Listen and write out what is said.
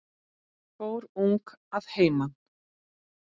Fór ung að heiman.